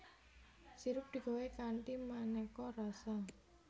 Sirup digawé kanthi manéka rasa